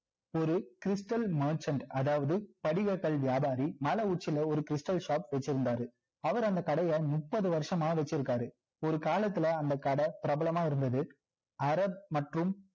ஒரு stal merchant அதாவது படிக கல் வியாபாரி மலை உச்சில ஒரு stal shop வச்சிருந்தாரு அவரு அந்த கடைய முப்பது வருஷமா வச்சி இருக்காரு ஒரு காலத்துல அந்த கடை பிரபலமா இருந்தது அரேப் மற்றும்